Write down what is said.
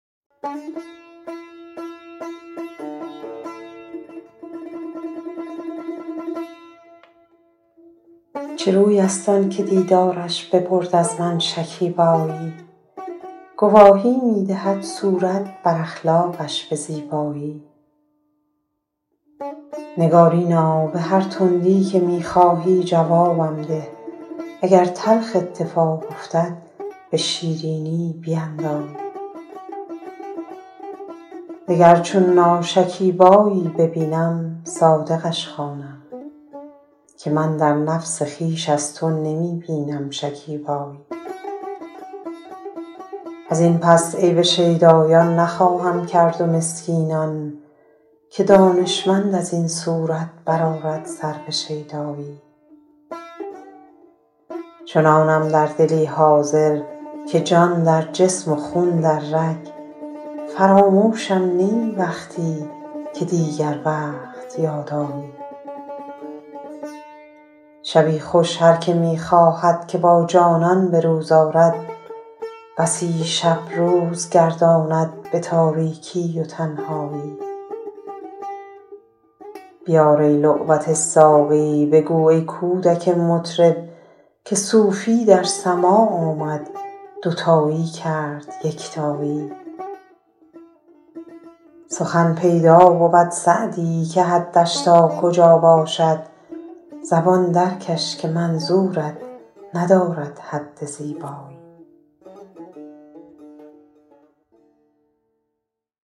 چه روی است آن که دیدارش ببرد از من شکیبایی گواهی می دهد صورت بر اخلاقش به زیبایی نگارینا به هر تندی که می خواهی جوابم ده اگر تلخ اتفاق افتد به شیرینی بیندایی دگر چون ناشکیبایی ببینم صادقش خوانم که من در نفس خویش از تو نمی بینم شکیبایی از این پس عیب شیدایان نخواهم کرد و مسکینان که دانشمند از این صورت بر آرد سر به شیدایی چنانم در دلی حاضر که جان در جسم و خون در رگ فراموشم نه ای وقتی که دیگر وقت یاد آیی شبی خوش هر که می خواهد که با جانان به روز آرد بسی شب روز گرداند به تاریکی و تنهایی بیار ای لعبت ساقی بگو ای کودک مطرب که صوفی در سماع آمد دوتایی کرد یکتایی سخن پیدا بود سعدی که حدش تا کجا باشد زبان درکش که منظورت ندارد حد زیبایی